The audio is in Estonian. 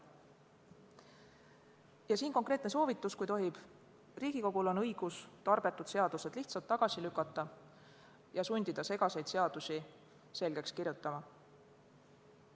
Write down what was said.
Ja siit konkreetne soovitus, kui tohib: Riigikogul on õigus tarbetud seadused lihtsalt tagasi lükata ja sundida segaseid seadusi selgeks kirjutama.